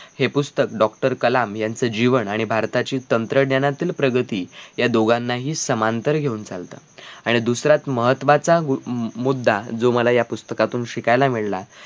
हे पुस्तक doctor कलाम यांचं जीवन आणि भारताची तंत्रज्ञानातील प्रगती या दोघांनाही समांतर घेऊन चालतात आणि दुसऱ्यात महत्वाचा हम्म मुद्धा जो मला यापुस्तकातून शिकायला मिळाला